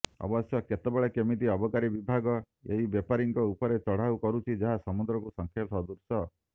ଅବଶ୍ୟ କେତେବେଳେ କେମିତି ଅବକାରୀ ବିଭାଗ ଏହି ବେପାରୀଙ୍କ ଉପରେ ଚଢ଼ାଉ କରୁଛି ଯାହା ସମୁଦ୍ରକୁ ଶଙ୍ଖେ ସଦୃଶ